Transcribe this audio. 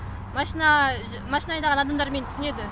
машина машина айдаған адамдар мені түсінеді